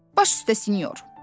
Baş üstə sinyor.